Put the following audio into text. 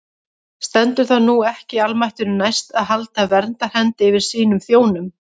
Stendur það nú ekki almættinu næst að halda verndarhendi yfir sínum þjónum?